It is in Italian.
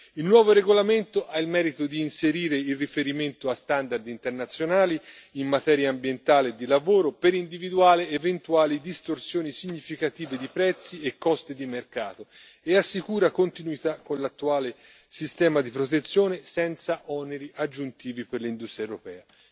Il nuovo regolamento ha il merito di inserire il riferimento a standard internazionali in materia ambientale e di lavoro, per individuare eventuali distorsioni significative di prezzi e costi di mercato, e assicura continuità con l'attuale sistema di protezione, senza oneri aggiuntivi per l'industria europea.